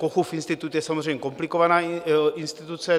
Kochův institut je samozřejmě komplikovaná instituce.